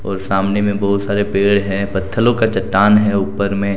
और सामने में बहुत सारे पेड़ हैं पत्थलो का चट्टान है ऊपर में।